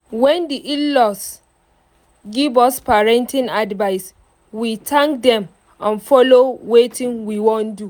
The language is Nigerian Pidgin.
wen the in-laws give us parenting advice we thank them and follow wetin we wan do